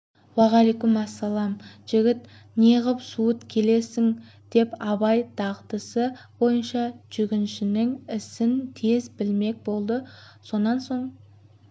уәғалайекүмәсәлем жігіт неғып суыт келесің деп абай дағдысы бойынша жүргіншінің ісін тез білмек болды сонан соң